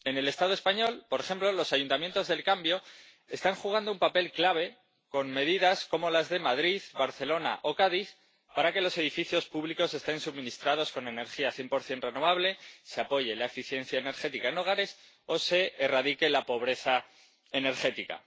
En el Estado español, por ejemplo, los ayuntamientos del cambio están desempeñando un papel clave, con medidas, como las de Madrid, Barcelona o Cádiz, para que los edificios públicos estén suministrados con energía 100 renovable, se apoye la eficiencia energética en los hogares o se erradique la pobreza energética.